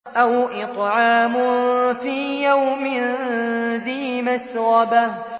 أَوْ إِطْعَامٌ فِي يَوْمٍ ذِي مَسْغَبَةٍ